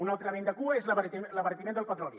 un altre vent de cua és l’abaratiment del petroli